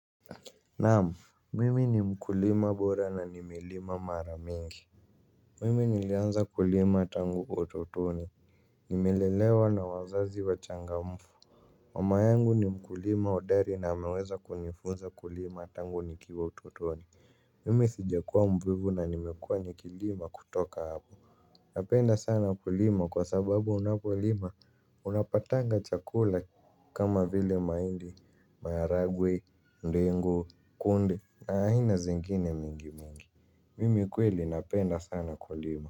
Naam, mimi ni mkulima bora na nimelima mara mingi. Mimi nilianza kulima tangu utotoni nimelelewa na wazazi wachangamfu. Mama yangu ni mkulima hodari na ameweza kunifunza kulima tangu nikiwa utotoni. Mimi sijakuwa mvivu na nimekuwa nikilima kutoka hapo. Napenda sana kulima kwa sababu unapolima unapatanga chakula kama vile mahindi, maharagwe, ndengu, kunde na aina zingine mingi mingi. Mimi kweli napenda sana kulima.